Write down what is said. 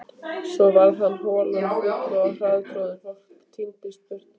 Svo varð holan full og harðtroðin, fólk tíndist burt.